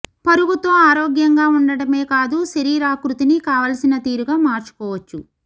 పరుగుతో ఆరోగ్యంగా ఉండటమే కాదు శరీరా కృతిని కావాల్సిన తీరుగా మార్చుకోవచ్చు